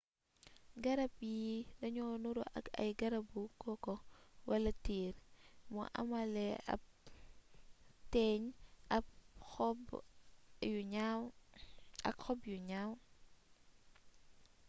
garab yii dañuy nuru ak ay garabu koko wala tiir mu amaale ab téeñ ak xob yu ñaw